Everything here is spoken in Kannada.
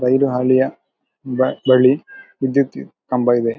ರೈಲು ಹಾದಿಯ ಬಳಿ ವಿದ್ಯುತ್ ಕಂಬ ಇದೆ.